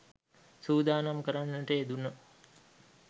සූදානම් කරන්නට යෙදුණා.